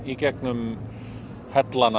gegnum hellana